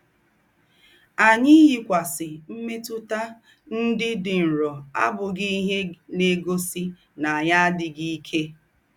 Ànyì ìyíkwásì m̀mètútà ńdị́ dị́ nrọ àbùghí íhe ná-ègósì ná ànyì àdíghí íkè.